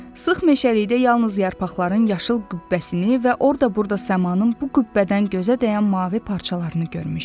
Sıx meşəlikdə yalnız yarpaqların yaşıl qübbəsini və orada-burada səmanın bu qübbədən gözə dəyən mavi parçalarını görmüşdü.